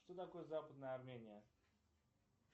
что такое западная армения